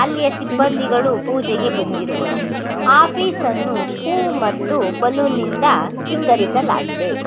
ಅಲ್ಲಿಯ ಸಿಬ್ಬಂಧಿಗಳು ಪೂಜೆಗೆ ಬಂದಿರುವರು ಆಫೀಸನ್ನು ಹೂ ಮತ್ತು ಬಲ್ಲೂನಿಂದ ಸಿಂಗಾರಿಸಲಾಗಿದೆ.